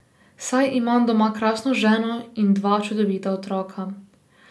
Saj imam doma krasno ženo in dva čudovita otroka.